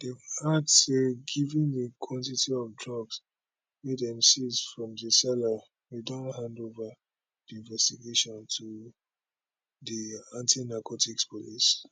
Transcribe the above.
dem add say given di quantity of drugs wey dem seize from di seller we don hand ova di investigation to di antinarcotics police